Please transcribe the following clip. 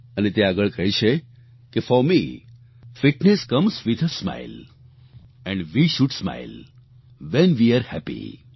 અને તે આગળ કહે છે કે for me fitness comes with a smile and we should smile when we are happy